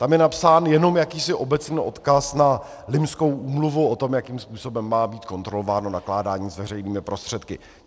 Tam je napsán jenom jakýsi obecný odkaz na Limskou úmluvu o tom, jakým způsobem má být kontrolováno nakládání s veřejnými prostředky.